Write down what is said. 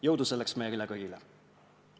Jõudu selleks meile kõigile!